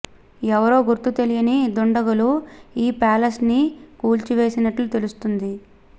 ఎవరో గుర్తు తెలియని దుండగులు ఈ ప్యాలెస్ ని కూల్చివేసినట్లు తెలుస్తుంది